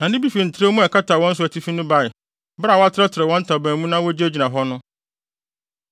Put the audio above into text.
Na nne bi fi ntrɛwmu a ɛkata wɔn so no atifi bae, bere a wɔatrɛtrɛw wɔn ntaban mu na wogyinagyina hɔ no.